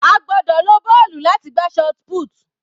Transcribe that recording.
A gbọ́dọ̀ lo bọ́ọ̀lù láti gbá shotput.